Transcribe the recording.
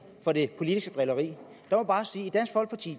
for det politiske drilleri